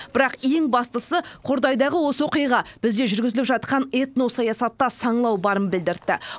бірақ ең бастысы қордайдағы осы оқиға бізде жүргізіліп жатқан этносаясатта саңылау барын білдіртті